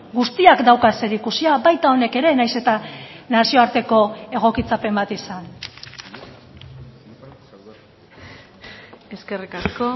guztiak dauka zerikusia baita honek ere nahiz eta nazioarteko egokitzapen bat izan eskerrik asko